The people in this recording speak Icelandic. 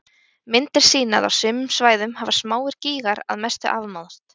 Myndir sýna að á sumum svæðum hafa smáir gígar að mestu afmáðst.